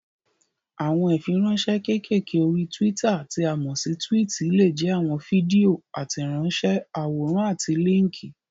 Àwọn ìfiránsẹ́ kékèké orí túwítà tí a mọ̀ sí túwìtì lè jẹ́ àwọn fídíò, àtẹ̀ránsẹ́, àwòrán àti líńkì.